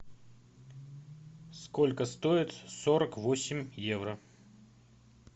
сколько стоит сорок восемь евро